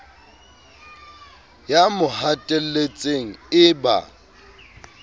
ya mo hatelletseng e ba